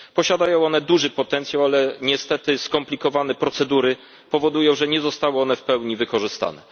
Posiadają one duży potencjał, ale niestety skomplikowane procedury powodują, że nie zostały one w pełni wykorzystane.